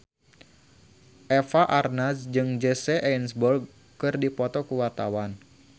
Eva Arnaz jeung Jesse Eisenberg keur dipoto ku wartawan